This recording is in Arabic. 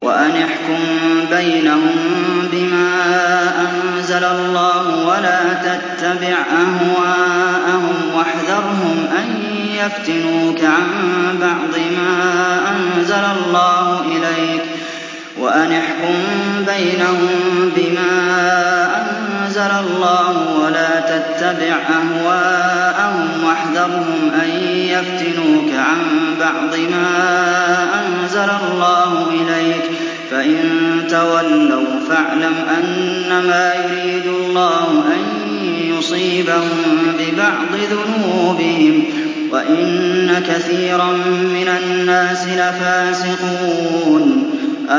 وَأَنِ احْكُم بَيْنَهُم بِمَا أَنزَلَ اللَّهُ وَلَا تَتَّبِعْ أَهْوَاءَهُمْ وَاحْذَرْهُمْ أَن يَفْتِنُوكَ عَن بَعْضِ مَا أَنزَلَ اللَّهُ إِلَيْكَ ۖ فَإِن تَوَلَّوْا فَاعْلَمْ أَنَّمَا يُرِيدُ اللَّهُ أَن يُصِيبَهُم بِبَعْضِ ذُنُوبِهِمْ ۗ وَإِنَّ كَثِيرًا مِّنَ النَّاسِ لَفَاسِقُونَ